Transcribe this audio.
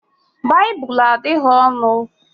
Baịbụl adịghị ọnụ